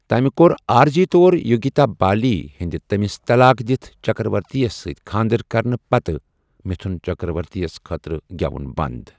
تمہِ كو٘ر عارضی طور یوگتا بالی ہندِ تمِس طلاق دِتھ چكرورتی ہس سۭتۍ خاندر كرنہٕ پتہٕ مِتھُن چكرورتی ہس خٲطرٕ گیوُن بند ۔